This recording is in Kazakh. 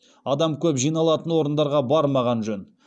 адам көп жиналатын орындарға бармаған жөн